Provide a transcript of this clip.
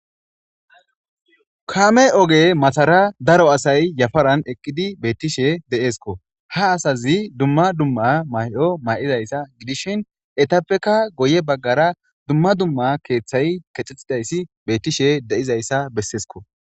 Kaame ogematara daro asay yafaran eqqidibeettishe de7eeskko. ha asa zi dumma dumma mayo mayidayssa gidishin guyye bagar akeethay keexettishe de7izayssa bessees.